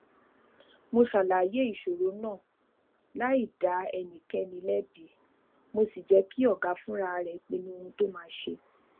mo ṣàlàyé ìṣòro náà láì dá ẹnikéni lébi mo sì jé kí ọga fúnra rè pinnu ohun tó máa ṣe